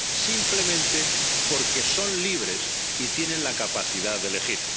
simplemente porque son libres y tienen la capacidad de elegir.